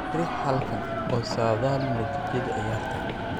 Riix halkaan oo saadaali natiijada ciyaarta.